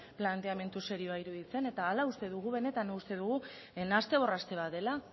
planteamendu serioa iruditzen eta hala uste dugu benetan uste dugu nahaste borraste bat dela